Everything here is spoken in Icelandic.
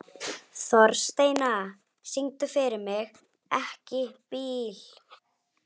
Þórsteina, syngdu fyrir mig „Ekki bíl“.